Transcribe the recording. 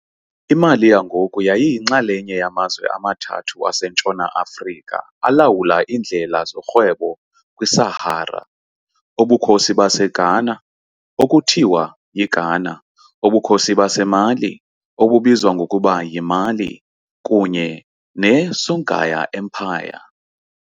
I-Mali yangoku yayiyinxalenye yamazwe amathathu aseNtshona Afrika alawula iindlela zokurhweba kwi-Sahara, Ubukhosi baseGhana, okuthiwa yiGhana, uBukhosi baseMali, obizwa ngokuba yiMali, kunye ne-Songhai Empire .